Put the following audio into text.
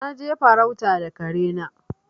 Na je farauta da kare na.